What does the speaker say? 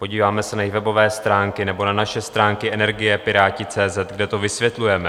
Podíváme se na jejich webové stránky nebo na naše stránky energie.pirati.cz, kde to vysvětlujeme.